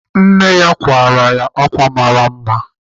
Nne ya kwara ya ákwà mara mma.